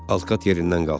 Alkat yerindən qalxdı.